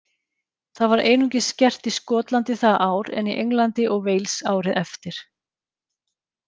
Það var einungis gert í Skotlandi það ár en í Englandi og Wales árið eftir.